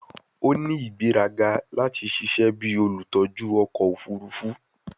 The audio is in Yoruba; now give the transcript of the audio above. O ni igberaga lati ṣiṣẹ bi olutọju ọkọ ofurufu